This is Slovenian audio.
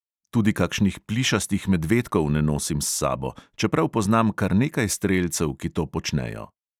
Tudi kakšnih plišastih medvedkov ne nosim s sabo, čeprav poznam kar nekaj strelcev, ki to počnejo.